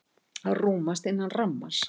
Rúmast innan rammans